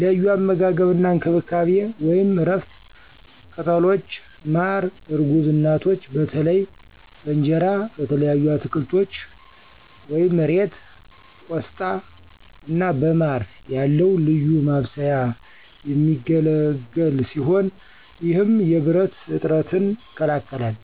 ለዩ አመጋገብ አና እንከብካቤ(እረፍት፣ ቅጠሎች፣ ማረ እርጉዝ እናቶች በተለይ በእንጀራ፣ በተለያዩ አትከልቶች (እሬት፣ ቆሽታ )አና በማረ ያለዉ ልዩ ማብሰያ የሚገለግል ሲሆነ ይህም የብረት እጥረትን ይከላከላል።